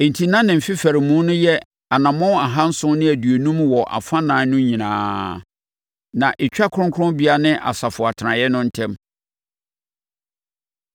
Enti na ne mfefaremu no yɛ anammɔn ahanson ne aduonum wɔ afanan no nyinaa, na ɛtwa kronkronbea ne asafo atenaeɛ no ntam.